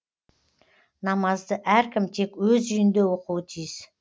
намазды әркім тек өз үйінде оқуы тиіс